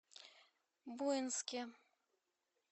буинске